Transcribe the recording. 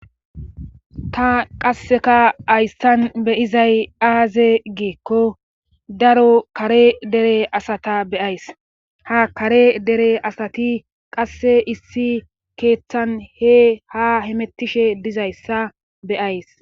Ta qasseka ayssan beyizay aaze geekko daro kare dere asata beyays ha kare dere asati qasse issi keeththan he ha hemettishe dizayssa beyays.